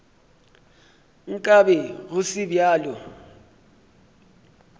nka be go se bjalo